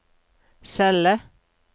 celle